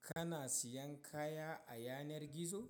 Kana siyan kaya a yanar gizo?